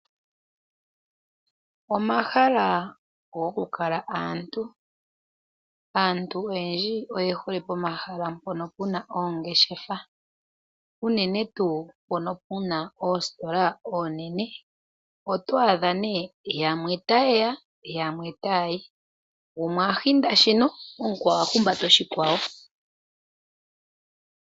Omahala goku kala aantu, aantu oyendji oye hole pomahala mpono puna oongeshefa unene tuu mpono puna oositola oonene. Oto adha nee yamwe taye ya yamwe taya yi, gumwe a hinda shino omukwawo a humbata oshikwawo.